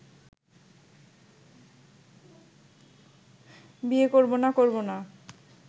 বিয়ে করব না করব না